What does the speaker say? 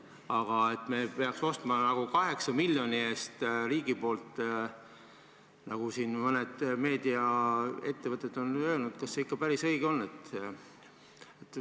Aga et riik peaks ostma 8 miljoni eest, nagu mõned meediaettevõtted on öelnud – kas see ikka päris õige on?